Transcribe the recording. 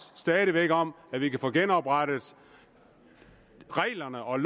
stadig væk om at vi kan få genoprettet reglerne og